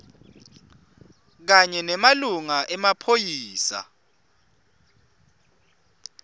kanye nemalunga emaphoyisa